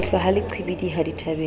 lehlwa ha le qhibidiha dithabeng